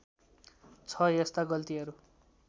छ यस्ता गल्तिहरू